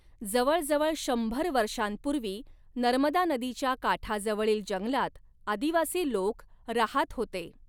जवळ जवळ शंभर वर्षांपूर्वी नर्मदा नदीच्या काठाजवळील जंगलात आदिवासी लोक राहात होते.